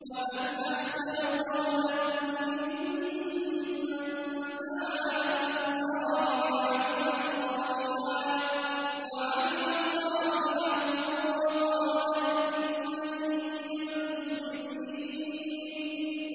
وَمَنْ أَحْسَنُ قَوْلًا مِّمَّن دَعَا إِلَى اللَّهِ وَعَمِلَ صَالِحًا وَقَالَ إِنَّنِي مِنَ الْمُسْلِمِينَ